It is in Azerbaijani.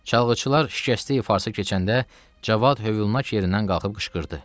Çalğıçılar şikəsti ifası keçəndə Cavad Hövlünak yerindən qalxıb qışqırdı: